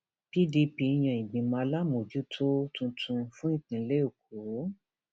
pdp yan ìgbìmọ aláàmójútó um tuntun fún ìpínlẹ èkó